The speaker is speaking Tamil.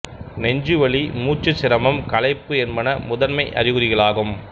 நெஞ்சு வலி மூச்சுச் சிரமம் களைப்பு என்பன முதன்மை அறிகுறிகளாகும்